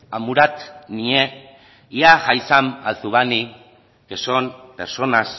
a y que son personas